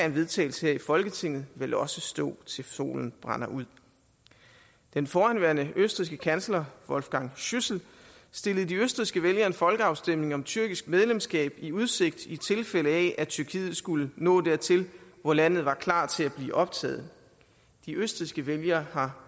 en vedtagelse her i folketinget vel også stå til solen brænder ud den forhenværende østrigske kansler wolfgang schüssel stillede de østrigske vælgere en folkeafstemning om tyrkisk medlemskab i udsigt i tilfælde af at tyrkiet skulle nå dertil hvor landet var klart til at blive optaget de østrigske vælgere har